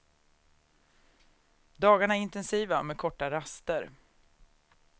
Dagarna är intensiva, med korta raster.